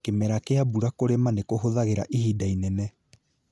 Kĩmera kĩa mbura kũrima nĩ kũhũthagĩra ihinda inene